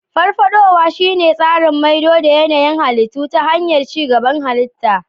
Farfadowa shine tsarin maido da yanayin halittu ta hanyar ci gaban halitta.